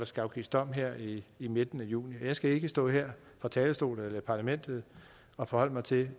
skal afsiges dom her i i midten af juni og jeg skal ikke stå her fra talerstolen i parlamentet og forholde mig til